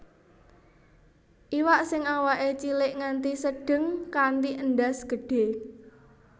Iwak sing awaké cilik nganti sedheng kanthi endhas gedhÉ